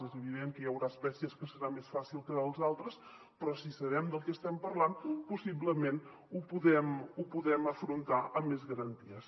és evident que hi haurà espècies que serà més fàcil que d’altres però si sabem del que estem parlant possiblement ho podem afrontar amb més garanties